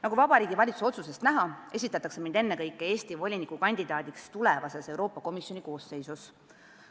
Nagu Vabariigi Valitsuse otsusest näha, esitatakse mind ennekõike Eesti voliniku kandidaadiks tulevases Euroopa Komisjoni koosseisus.